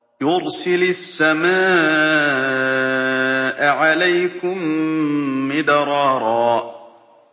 يُرْسِلِ السَّمَاءَ عَلَيْكُم مِّدْرَارًا